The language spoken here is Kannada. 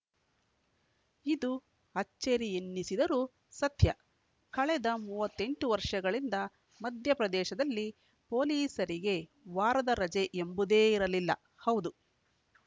ಇದು ಅಚ್ಚರಿ ಎನ್ನಿಸಿದರೂ ಸತ್ಯ ಕಳೆದ ಮೂವತ್ತ್ ಎಂಟು ವರ್ಷಗಳಿಂದ ಮಧ್ಯಪ್ರದೇಶದಲ್ಲಿ ಪೊಲೀಸರಿಗೆ ವಾರದ ರಜೆ ಎಂಬುದೇ ಇರಲಿಲ್ಲ ಹೌದು